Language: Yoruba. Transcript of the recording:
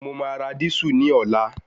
Mo máa ra dísù ní ọ̀la